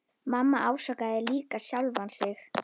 Mamma ásakaði líka sjálfa sig.